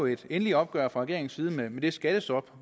et endeligt opgør fra regeringens side med det skattestop